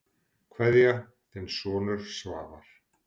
Kveðja, þinn sonur Svavar.